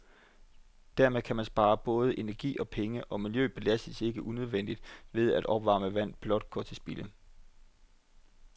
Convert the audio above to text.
Dermed kan man spare både energi og penge, og miljøet belastes ikke unødigt ved, at opvarmet vand blot går til spilde.